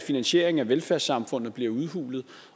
finansieringen af velfærdssamfundet bliver udhulet